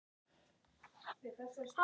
Erla Björg: Er þetta gott?